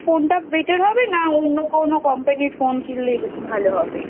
Phone টা Better হবে না অন্য কোনো Company র Phone কিনলেই ভালো হবে?